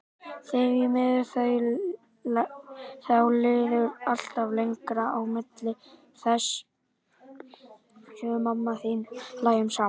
Því miður, þá líður alltaf lengra á milli þess sem við mamma þín hlæjum saman.